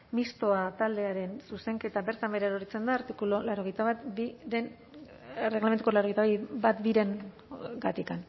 mistoa taldearen zuzenketa bertan behera erortzen da erregelamenduko laurogeita batbiren artikuluagatik